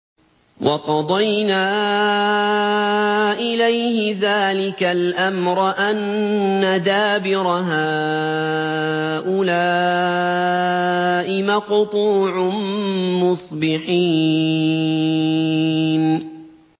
وَقَضَيْنَا إِلَيْهِ ذَٰلِكَ الْأَمْرَ أَنَّ دَابِرَ هَٰؤُلَاءِ مَقْطُوعٌ مُّصْبِحِينَ